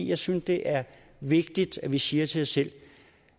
jeg synes det er vigtigt at vi siger til os selv